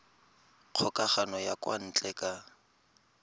kgokagano ya kwa ntle ka